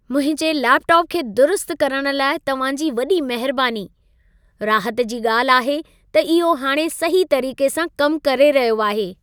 मुंहिंजे लेपटॉप खे दुरुस्त करण लाइ तव्हां जी वॾी महिरबानी। राहत जी ॻाल्हि आहे त इहो हाणे सही तरीक़े सां कमु करे रहियो आहे।